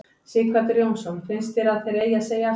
Sighvatur Jónsson: Finnst þér að þeir eigi að segja af sér?